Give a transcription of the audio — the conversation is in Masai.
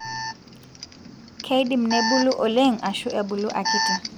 keidim nebulu oleng ashu ebulu akiti.